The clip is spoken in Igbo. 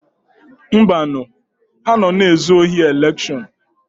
Mbanu, ha nọ na-ezu ohi elekshọn.